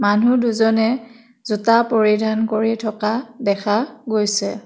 মানুহ দুজনে জোতা পৰিধান কৰি থকা দেখা গৈছে।